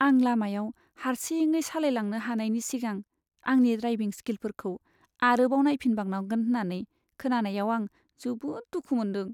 आं लामायाव हारसिङै सालायलांनो हानायनि सिगां आंनि ड्रायभिं स्किलफोरखौ आरोबाव नायफिनबावनांगोन होन्नानै खोनानायाव आं जोबोद दुखु मोनदों।